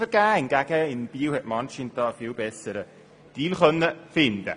Anscheinend konnte man in Biel einen viel besseren Deal aushandeln.